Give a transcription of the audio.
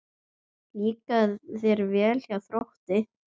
Líkar þér vel hjá Þrótti?